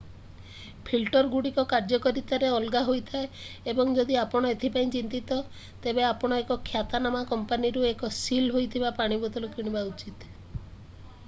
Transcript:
ଫିଲ୍ଟରଗୁଡ଼ିକ କାର୍ଯ୍ୟକାରିତାରେ ଅଲଗା ହୋଇଥାଏ ଏବଂ ଯଦି ଆପଣ ଏଥି ପାଇଁ ଚିନ୍ତିତ ତେବେ ଆପଣ ଏକ ଖ୍ୟାତନାମା କମ୍ପାନୀରୁ ଏକ ସିଲ୍ ହୋଇଥିବା ପାଣି ବୋତଲ କିଣିବା ଉଚିତ